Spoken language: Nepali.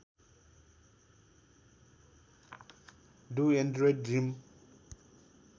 do androids dream